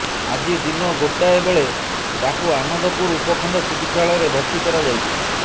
ଆଜି ଦିନ ଗୋଟାଏବେଳେ ତାକୁ ଆନନ୍ଦପୁର ଉପଖଣ୍ଡ ଚିକିତ୍ସାଳୟରେ ଭର୍ତ୍ତିି କରାଯାଇଛି